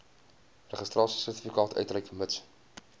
registrasiesertifikaat uitreik mits